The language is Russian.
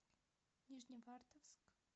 нижневартовск